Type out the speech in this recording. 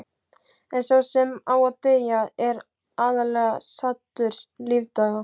En sá sem á að deyja er aðallega saddur lífdaga.